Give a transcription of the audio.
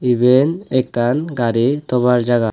eben ekkan gari tobar jaga.